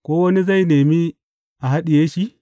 Ko wani zai nemi a haɗiye shi?